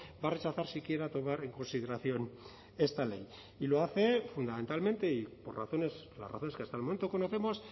va a rechazar si quiera tomar en consideración esta ley y lo hace fundamentalmente y por razones las razones que hasta el momento conocemos